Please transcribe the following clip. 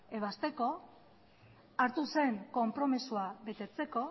ebazteko hartu zen konpromisoa betetzeko